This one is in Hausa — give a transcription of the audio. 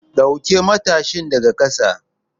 Ɗauke matashin daga ƙasa!